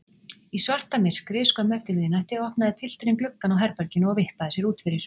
Í svartamyrkri skömmu eftir miðnætti opnaði pilturinn gluggann á herberginu og vippaði sér út fyrir.